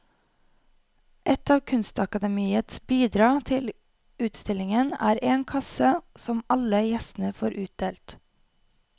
Et av kunstakademiets bidrag til utstillingen er en kasse som alle gjestene får utdelt.